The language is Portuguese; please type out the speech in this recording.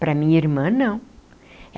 Para minha irmã, não.